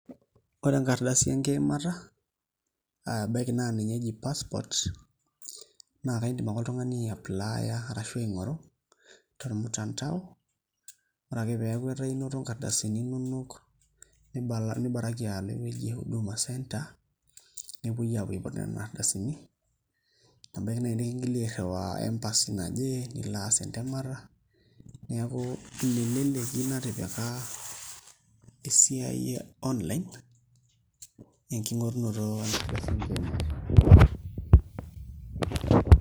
Ore enkaradasi enkiimata aa ebaiki naa ninye eji passport naa iindim ake oltung'ani aiapply tormutandao ore ake pee eeeku inoto nkardasini inonok pookin nibaraki alo ewueji e Huduma centre nepuoi aapuo aiput nena ardasini nebaiki naai nikingili airriwaa embasy naje nilo aas entemata neeku ina eleleki natipika esiai e online enking'orunoto enkardasi enkiimata.